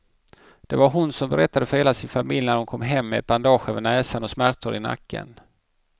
Det var vad hon berättade för hela sin familj när hon kom hem med ett bandage över näsan och smärtor i nacken.